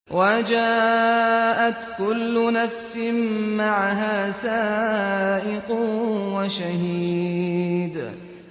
وَجَاءَتْ كُلُّ نَفْسٍ مَّعَهَا سَائِقٌ وَشَهِيدٌ